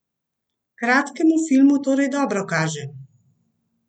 Kratkemu filmu torej dobro kaže!